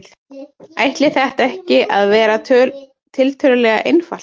Ætti þetta ekki að vera tiltölulega einfalt?